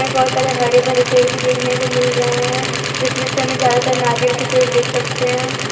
बहोत सारे हरे भरे पेड़ देखने को मिल रहे हैं जिसमें समय ज्यादातर नारियल के पेड़ देख सकते हैं।